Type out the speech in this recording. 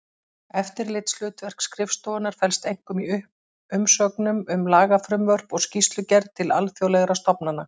Eftirlitshlutverk skrifstofunnar felst einkum í umsögnum um lagafrumvörp og skýrslugerð til alþjóðlegra stofnana.